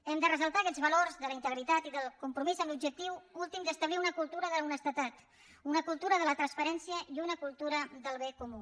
hem de ressaltar aquests valors de la integritat i del compromís amb l’objectiu últim d’establir una cultura d’honestedat una cultura de la transparència i una cultura del bé comú